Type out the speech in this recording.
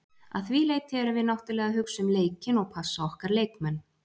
Að því leyti erum við náttúrulega að hugsa um leikinn og passa okkar leikmenn.